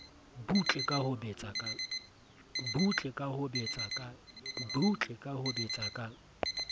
butle ka ho betsa ka